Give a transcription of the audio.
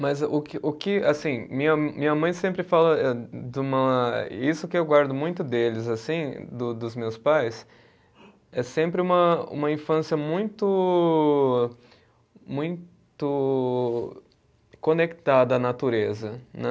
Mas o que o que, assim, minha minha mãe sempre fala eh de uma, isso que eu guardo muito deles, assim, do dos meus pais, é sempre uma uma infância muito muito conectada à natureza, né?